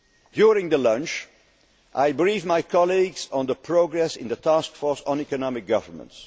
over yet. During the lunch, I briefed my colleagues on the progress in the task force on economic governance.